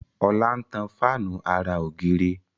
Ola ń tan Fáànù àrà ògiri.